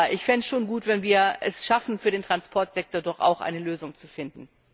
Aber ich fände es schon gut, wenn wir es schaffen, für den Transportsektor eine Lösung zu finden.